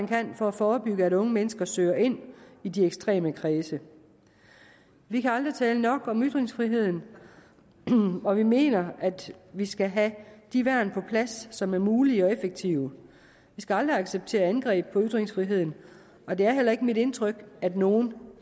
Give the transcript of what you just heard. kan for at forebygge at unge mennesker søger ind i de ekstreme kredse vi kan aldrig tale nok om ytringsfriheden og vi mener at vi skal have de værn på plads som er mulige og effektive vi skal aldrig acceptere angreb på ytringsfriheden og det er heller ikke mit indtryk at nogen